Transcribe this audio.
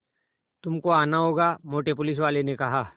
तुमको आना होगा मोटे पुलिसवाले ने कहा